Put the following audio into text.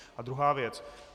A druhá věc.